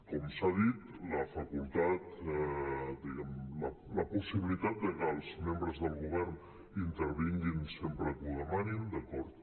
com s’ha dit la facultat diguem ne la possibilitat de que els membres del govern intervinguin sempre que ho demanin d’acord